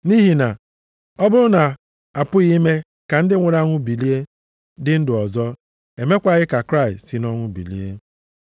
Nʼihi na, ọ bụrụ na a pụghị ime ka ndị nwụrụ anwụ bilie dị ndụ ọzọ, emekwaghị ka Kraịst si nʼọnwụ bilie.